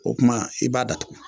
O kuma i b'a datugu